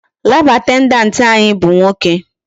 Lab attendant anyị bụ nwoke.